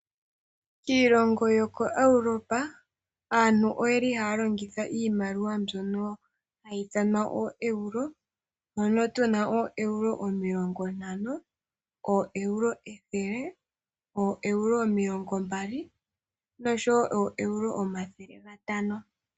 Iilongo yoko Europa, aantu oyeli haya longitha iimaliwa mbyono hayi ithanwa ooeuro. Ano tuna ooeuro omilongo ntano, ooeuro ethele, ooeuro omilongo mbali nosho wo ooeuro omathele gatano.